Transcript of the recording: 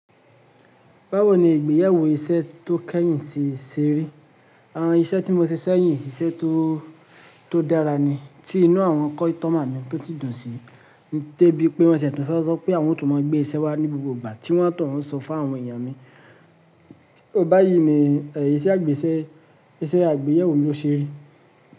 Báwo ni ìgbéyàwó iṣẹ́ tó kẹ́yìn ti ṣe rí? Àwọn iṣẹ́ tí mo ṣe sẹ́yìn iṣẹ́ tó, tó dára ni. Tí inú àwọn kọ́ítọ́mà mi tò sì dùn sí. Dé bí pé wọ́n ti e tún fẹ́ sọ pé awọ́n ó tún máa gbé iṣẹ́ wá ní gbogbo ìgbà tí wọ́n o tun ń sọ fún àwọn èèyàn mi. Ó báyìí ni ẹ̀ iṣẹ́ àgbésẹ́, iṣẹ́ àgbéyẹ̀wò mi lo ṣe rí.